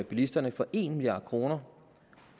bilisterne for en milliard kroner